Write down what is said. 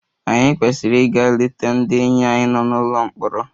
Ànyị kwesịrị ịga leta ndị enyi anyị nọ n'ụlọ mkpọrọ?